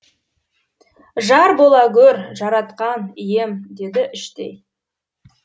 жар бола гөр жаратқан ием деді іштей